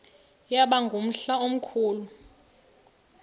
yaba ngumhla omkhulu